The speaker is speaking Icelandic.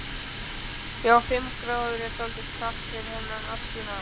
Já, fimm gráður er dálítið kalt fyrir þennan árstíma.